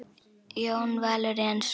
Jón Valur Jensson